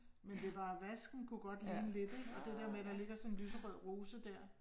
Men det bare vasken kunne godt ligne lidt ik, og det der med at der ligger sådan en lyserød rose der